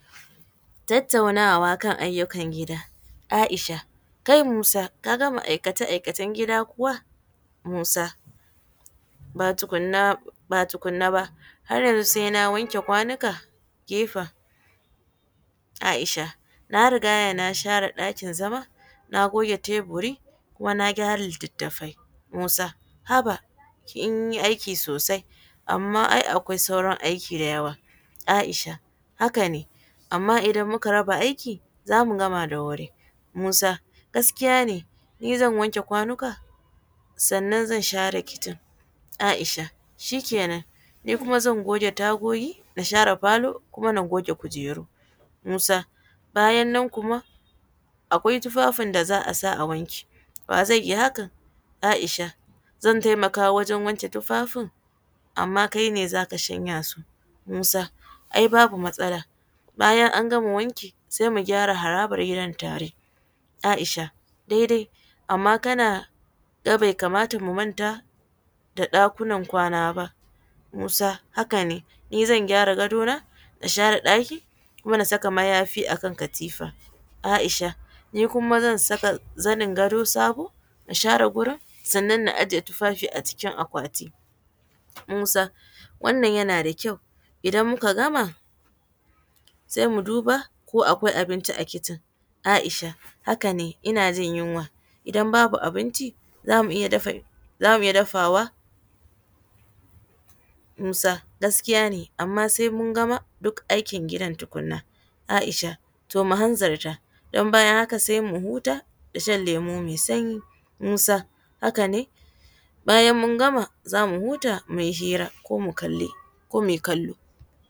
Tattaunawa kan ayyukan gida, Aisha, kai Musa ka gama aikace-aikacen gida kuwa? Musa, ba tukuna ba har sai yanzu na wanke kwanuka, ke fa? Aisha, na riga na share ɗakin zama na goge teburi kuma na gyara litattafai, Musa, haba kin yi aiki sosai, amma ai akwai sauran aiki da yawa, Aisha, haka ne amma idan muka raba aiki zamu gama da wuri, Musa gaskiya ni zan wanke kwanuka sannan zan share kishin, Aisha shi kena ni kuma zan goge tagogi da falo kuma ta goge kujeru, Musa bayan nan kuma akwai tufafin da za a sa a wanke wa zai yi hakan, Aisha zan taimaka wajen wanke tufafin amma kai ne zaka shanya su, Musa ai babu matsala bayan an gama wanki sai mu gyara haraban gidan tare, Aisha daidai amma kana ga bai kamata mu manta da ɗakunan kwana ba, Musa haka ne ni zan gyara gado na da share ɗaki kuma da saka mayafi akan katifa, Aisha ni kuma zan saka zanin gado sabo da share gurin sannan na ajiye tufafi a cikin akwati, Musa wannan yana da kyau idan muka gama sai mu duba ko akwai abinci a kishin, Aisha haka ne ina jin yunwa, idan babu abinci zamu iya dafawa, Musa gaskiya ne amma sai mun gama duk aikin gidan tukuna, Aisha to mu hanzarta idan bayan haka sai mu huta da shan lemu mai sanyi, Musa haka ne bayan mun gama zamu huta muyi hira ko muyi kallo.